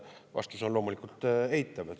Vastus on loomulikult eitav.